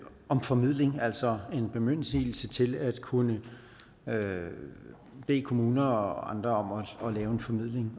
om formidling altså en bemyndigelse til at kunne bede kommuner og andre om at lave en formidling